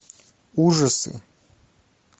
ужасы